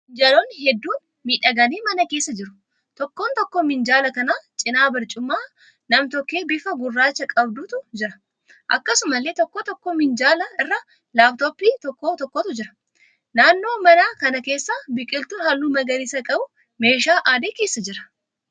Minjaalonni hedduun miidhaganii mana keessa jiru. Tokko tokkoo minjaala kanaa cina barcuma nam-tokkee bifa gurraacha qabdutu jira. Akkasumallee tokkoo tokkoo minjaala irra 'laaptooppii' tokko tokkotu jira. Naannoo manaa kana keessa biqiltuun halluu magariisa qabu meeshaa adii keessa jira.